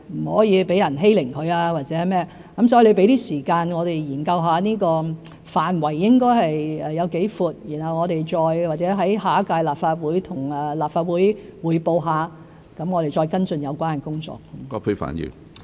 所以，請葛議員給我們一點時間研究這個範圍該涵蓋多闊，然後我們或許向下一屆立法會匯報，再跟進有關工作。